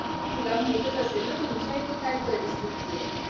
तुला माहीतच असेल ना तुमच्या इथे परिस्तिथी आहे